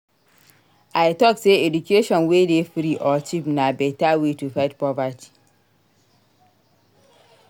I tok sey education wey dey free or cheap na beta way to fight poverty.